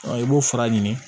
i b'o fara ɲini